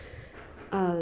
að